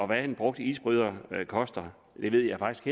hvad en brugt isbryder koster ved jeg faktisk